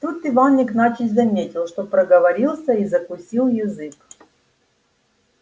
тут иван игнатьич заметил что проговорился и закусил язык